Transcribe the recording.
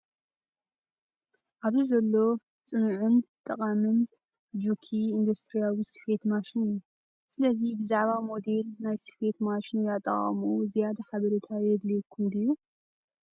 ኣብዚ ዘሎ ጽኑዕን ጠቓምን ጁኪ ኢንዱስትርያዊ ስፌት ማሽን እዩ። ስለዚ፡ ብዛዕባ ሞዴል ናይ ስፌት ማሽን ወይ ኣጠቓቕምኡ ዝያዳ ሓበሬታ የድልየኩም ድዩ?